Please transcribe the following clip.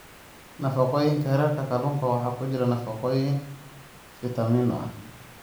Nafaqooyinka Heerka Kalluunka waxaa ku jira nafaqooyin fitamiino ah.